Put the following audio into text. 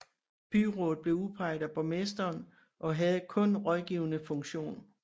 Byrådet blev udpeget af borgmesteren og havde kun rådgivende funktion